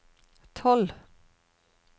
tolv